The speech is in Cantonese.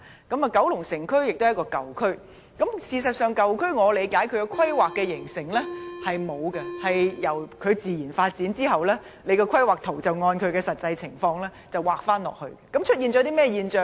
九龍城區是一個舊區，事實上，我理解舊區是在沒有甚麼規劃下形成的，舊區自然發展後，便按實際情況來規劃，這會出現甚麼現象呢？